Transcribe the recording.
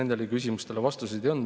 Nendele küsimustele vastuseid ei olnud.